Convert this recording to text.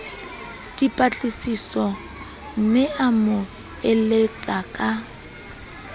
dipatlisisomme a mo eletse ka